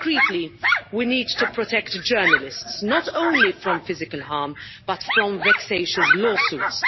And specifically, we need to protect journalists not only from physical harm, but from vexatious lawsuits.